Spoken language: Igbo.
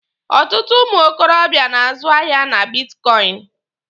Ọtụtụ ụmụ okorobịa na-azụ ahịa na bitkọịnị.